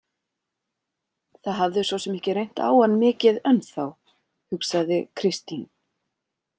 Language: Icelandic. Það hafði svo sem ekki reynt á hann mikið ennþá, hugsaði Kristín.